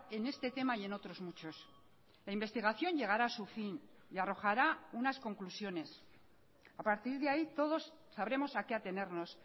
en este tema y en otros muchos la investigación llegará a su fin y arrojará unas conclusiones a partir de ahí todos sabremos a qué atenernos